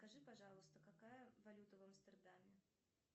скажи пожалуйста какая валюта в амстердаме